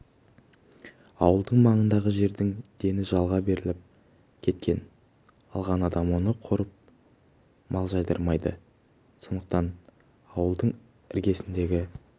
ауылдың маңындағы жердің дені жалға беріліп кеткен алған адам оны қорып мал жайдырмайды сондықтан ауылдың іргесіндегі